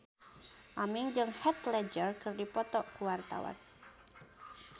Aming jeung Heath Ledger keur dipoto ku wartawan